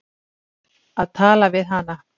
Að tala við hana!